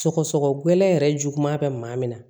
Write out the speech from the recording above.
Sɔgɔsɔgɔ gɛlɛn yɛrɛ juguya bɛ maa min na